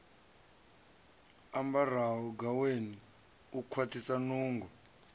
ambaraho gaweni u kwaṱhisa nungo